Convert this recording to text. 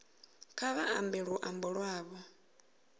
kha vha ambe luambo lwavho